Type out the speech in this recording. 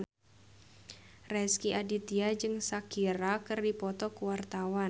Rezky Aditya jeung Shakira keur dipoto ku wartawan